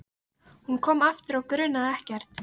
Hún kom aftur og grunaði ekkert.